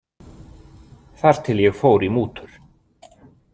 Þar til ég fór í mútur.